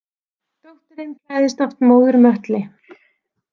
Dóttirin klæðist oft móður möttli.